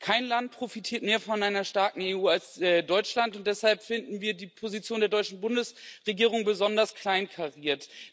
Kein Land profitiert mehr von einer starken EU als Deutschland, und deshalb finden wir die Position der Deutschen Bundesregierung besonders kleinkariert.